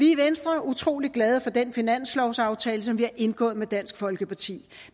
i venstre utrolig glade for den finanslovsaftale som vi har indgået med dansk folkeparti